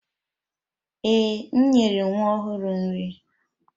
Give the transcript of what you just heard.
Ee, m nyere nwa ọhụrụ nri.